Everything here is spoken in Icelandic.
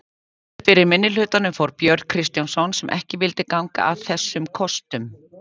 Fyrir minnihlutanum fór Björn Kristjánsson sem ekki vildi ganga að þessum kostum.